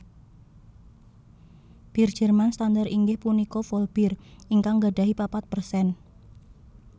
Bir Jerman standar inggih punika Vollbier ingkang nggadahi papat persen